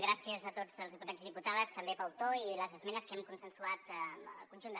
gràcies a tots els diputats i diputades també pel to i les esmenes que hem consensuat amb el conjunt de